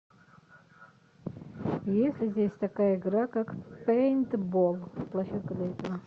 есть ли здесь такая игра как пейнтбол площадка для этого